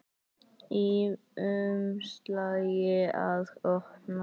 Í umslagi að opna.